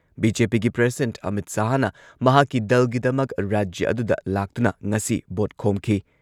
ꯕꯤ.ꯖꯦ.ꯄꯤꯒꯤ ꯄ꯭ꯔꯁꯤꯗꯦꯟꯠ ꯑꯃꯤꯠ ꯁꯍꯥꯍꯅ ꯃꯍꯥꯛꯀꯤ ꯗꯜꯒꯤꯗꯃꯛ ꯔꯥꯖ꯭ꯌ ꯑꯗꯨꯗ ꯂꯥꯛꯇꯨꯅ ꯉꯁꯤ ꯚꯣꯠ ꯈꯣꯝꯈꯤ꯫